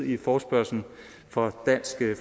i forespørgslen fra dansk